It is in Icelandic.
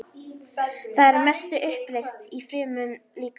Það er að mestu uppleyst í frumum líkamans.